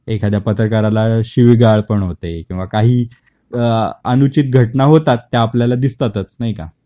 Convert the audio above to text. एखाद्या पत्रकाराला शिवीगाळ पण होते किंवा काही अ अनुचित घटना होतात त्या आपल्याला दिसतातच, नाही का?